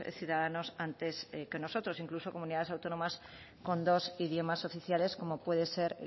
ciudadanos antes que nosotros incluso comunidades autónomas con dos idiomas oficiales como puede ser